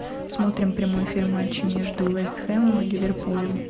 смотрим прямой эфир матча между вест хэмом и ливерпулем